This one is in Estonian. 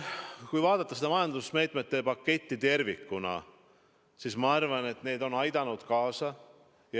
Kui vaadata seda majandusmeetmete paketti tervikuna, siis ma arvan, et need on aidanud kaasa.